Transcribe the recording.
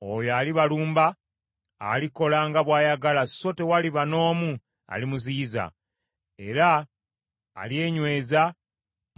Oyo alibalumba, alikola nga bw’ayagala so tewaliba n’omu alimuziyiza; era alyenyweza